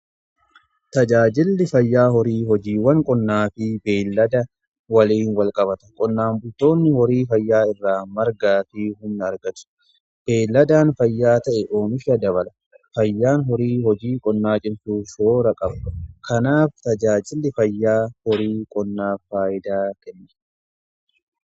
Tajaajilli fayyaa horii hojiiwwan qonnaa fi beelada waliin walqabata. Qonnaan butoonni horii fayyaa irraa margaa argatu. Beeladaan fayyaa ta'e ooomisha dabala fayyaan horii hojii qonnaa cimsuu yeroo qabu kanaaf tajaajilli fayyaa horii qonnaa faayidaa kenna.